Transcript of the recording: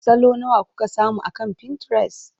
Salo nawa kuka samu akan Pinterest?